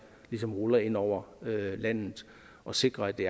ligesom ruller ind over landet og sikrer at det